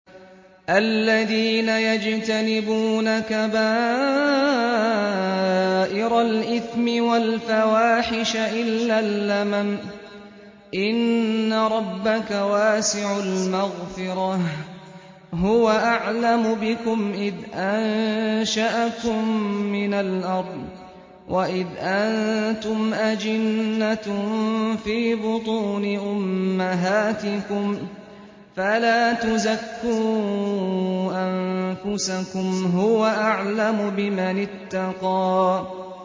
الَّذِينَ يَجْتَنِبُونَ كَبَائِرَ الْإِثْمِ وَالْفَوَاحِشَ إِلَّا اللَّمَمَ ۚ إِنَّ رَبَّكَ وَاسِعُ الْمَغْفِرَةِ ۚ هُوَ أَعْلَمُ بِكُمْ إِذْ أَنشَأَكُم مِّنَ الْأَرْضِ وَإِذْ أَنتُمْ أَجِنَّةٌ فِي بُطُونِ أُمَّهَاتِكُمْ ۖ فَلَا تُزَكُّوا أَنفُسَكُمْ ۖ هُوَ أَعْلَمُ بِمَنِ اتَّقَىٰ